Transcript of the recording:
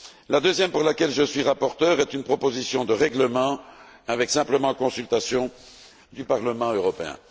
Le deuxième, pour lequel je suis rapporteur, concerne une proposition de règlement prévoyant simplement la consultation du Parlement européen.